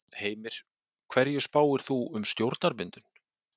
Heimir: Hverju spáir þú um stjórnarmyndun?